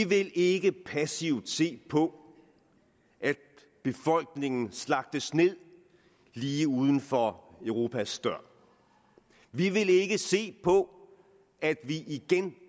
vil ikke passivt se på at befolkningen slagtes ned lige uden for europas dør vi vil ikke se på at vi igen